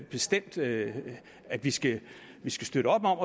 bestemt at at vi skal støtte op om